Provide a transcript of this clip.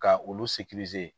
Ka olu